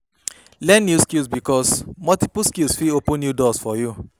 Learn new skill bikos multiply skills fit open new doors for yu